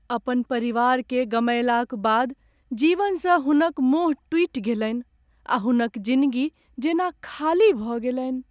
अपन परिवारकेँ गमयलाक बाद जीवनसँ हुनक मोह टूटि गेलनि आ हुनक जिनगी जेना खाली भऽ गेलनि।